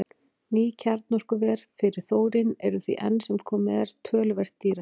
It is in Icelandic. Ný kjarnorkuver fyrir þórín eru því enn sem komið er töluvert dýrari.